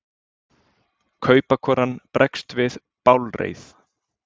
Kaupakonan bregst við bálreið.